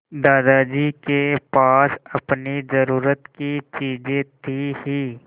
दादाजी के पास अपनी ज़रूरत की चीजें थी हीं